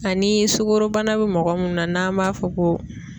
Ani sukorobana bɛ mɔgɔ mun na n'an m'a fɔ ko